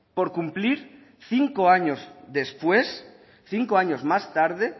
por cumplir cinco años después cinco años más tarde